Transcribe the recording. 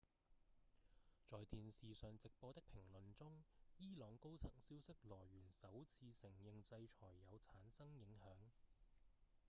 在電視上直播的評論中伊朗高層消息來源首次承認制裁有產生影響